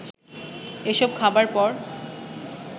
এসব খাবার পর